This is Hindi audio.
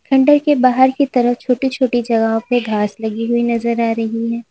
खंडर के बाहर की तरफ छोटी छोटी जगहों पे घास लगी हुई नजर आ रही है।